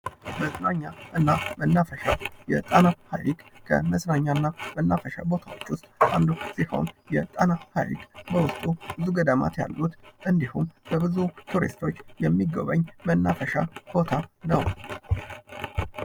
መዝናኛና መናፈሻ፦ የጣና ሃይቅ ከመዝናኛና መናፈሻወች ውስጥ አንዱ ሲሆን የጣና ሃይቅ በውስጡ ብዙ ገዳማት ያሉት እንዲሁም በብዙ ቱሪስቶች የሚጎበኝ መናፈሻ ቦታ ነው።